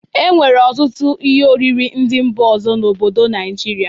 E nwere ọtụtụ ihe oriri ndị mba ọzọ n'obodo Naijiria.